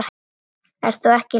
Þú ert ekki í lagi.